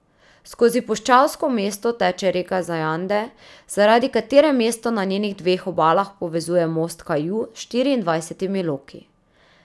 Skozi puščavsko mesto teče reka Zajande, zaradi katere mesto na njenih dveh obalah povezuje most Kaju s štiriindvajsetimi loki.